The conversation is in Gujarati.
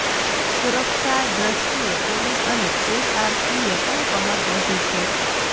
સુરક્ષા દ્રષ્ટિએ પોલીસ અને એસઆરપીએ પણ કમર કસી છે